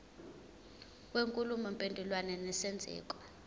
kwenkulumo mpendulwano nesenzeko